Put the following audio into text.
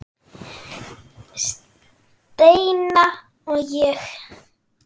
Steina og ég.